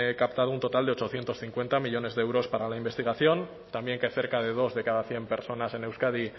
captado un total de ochocientos cincuenta millónes de euros para la investigación también que cerca de dos de cada cien personas en euskadi